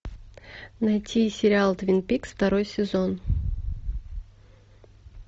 найти сериал твин пикс второй сезон